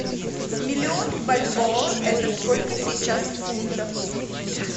миллион бальбоа это сколько сейчас в фунтах